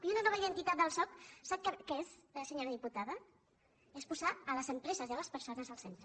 i una nova identitat al soc sap què és senyora diputada és posar les empreses i les persones al centre